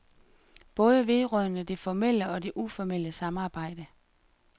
Både vedrørende det formelle og det uformelle samarbejde.